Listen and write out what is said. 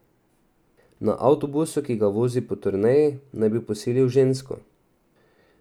Na avtobusu, ki ga vozi po turneji, naj bi posilil žensko.